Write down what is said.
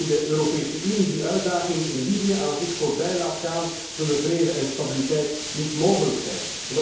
Indien de Europese Unie die uitdagingen in Libië aan zich voorbij laat gaan, zullen vrede en stabiliteit niet mogelijk zijn.